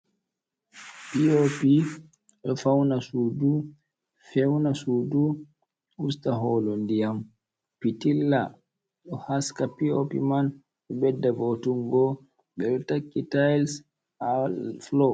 Pii'opi ɗo fawna suudu, fewna suudu, usta hoolo ndiyam. Pitilla ɗo haska pii'opi man, ɗo ɓedda vo''utungo, ɓe ɗo takki tayis haa fulo.